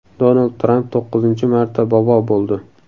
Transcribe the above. Donald Tramp to‘qqizinchi marta bobo bo‘ldi .